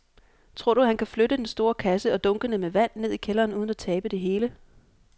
Tror du, at han kan flytte den store kasse og dunkene med vand ned i kælderen uden at tabe det hele?